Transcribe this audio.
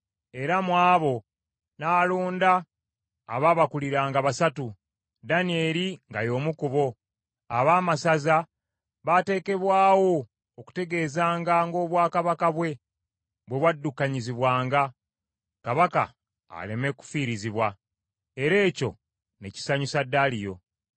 era mu abo n’alonda abaabakuliranga basatu, Danyeri nga y’omu ku bo. Abaamasaza baateekebwawo okutegeezanga ng’obwakabaka bwe, bwe bwaddukanyizibwanga, kabaka aleme kufiirizibwa. Era ekyo ne kisanyusa Daliyo.